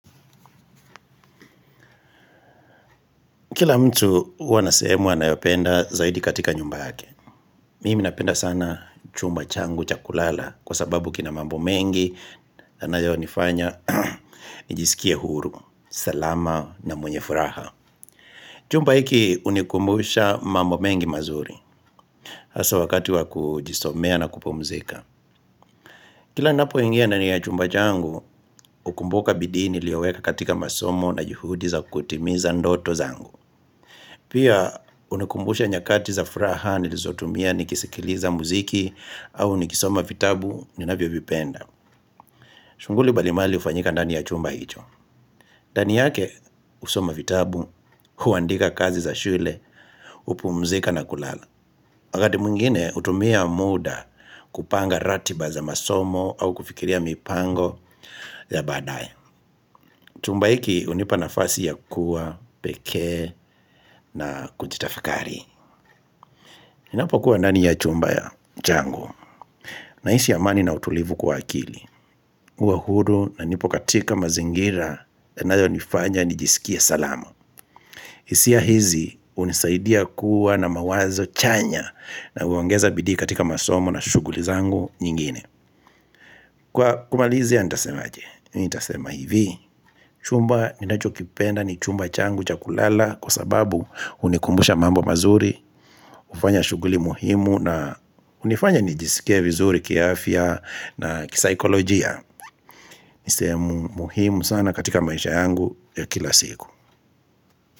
Kila mtu huwa anasehemu anayopenda zaidi katika nyumba yake Mimi napenda sana chumba changu cha kulala Kwa sababu kina mambo mengi yanayonifanya, nijisikie huru, salama na mwenye furaha Chumba hiki hunikumbusha mambo mengi mazuri hasa wakati wa kujisomea na kupumzika Kila ninapoingia ndani ya chumba changu hukumbuka bidii niliyoweka katika masomo na juhudi za kutimiza ndoto zangu Pia hunikumbusha nyakati za furaha nilizotumia nikisikiliza muziki au nikisoma vitabu ninavyovipenda. Shughuli mbalimbali hufanyika ndani ya chumba hicho. Ndani yake husoma vitabu, huandika kazi za shule, hupumzika na kulala. Wakati mwingine hutumia muda kupanga ratiba za masomo au kufikiria mipango ya baadaye. Chumba hiki hunipa nafasi ya kuwa, peke na kujitafakari. Ninapokuwa ndani ya chumba changu nahisi amani na utulivu kwa akili huwa huru na nipo katika mazingira yanayonifanya nijisikie salama hisia hizi hunisaidia kuwa na mawazo chanya na uongeza bidii katika masomo na shughuli zangu nyingine Kwa kumalizia nitasema aje, nitasema hivi chumba ninachokipenda ni chumba changu cha kulala kwa sababu hunikumbusha mambo mazuri hufanya shughuli muhimu na hunifanya nijisikie vizuri kiafya na kisaikolojia ni sehemu muhimu sana katika maisha yangu ya kila siku.